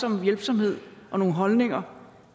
om hjælpsomhed og nogle holdninger